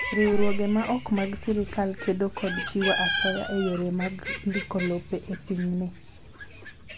Riwruoge ma ok mag sirkal kedo kod chiwo asoya e yore mag ndiko lope e pinyni.